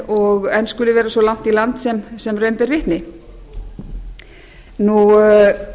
og enn skuli vera svo langt í land sem raun ber vitni það er